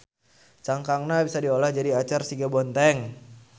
Cangkangna bisa diolah jadi acar siga Bonteng.